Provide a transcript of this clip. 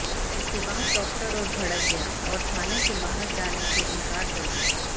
इसके बाद डॉक्टर और भड़क गया और थाने से बाहर जाने से इनकार कर दिया